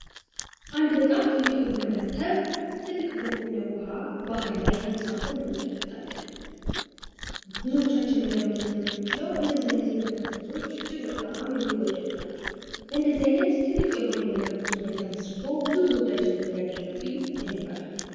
አንድ በጣም ትልቅ የሆነ መርከብ ትልቅ በሆነ ውሃ ባህር ላይ ተንሳፎ እንመለከታለን። ብዙዎቻችን መገመት እንደምንችለው እንደዚህ አይነት የመርከብ ጉዞዎች በጣም የሚወደዱ ናቸው። በእንደዚህ አይነት ትልቅ የሆነ የመርከብ ጉዞ ላይ ተመስርቶ ብዙ ተወዳጅነት ያገኘው ፊልም ምን ይባስ?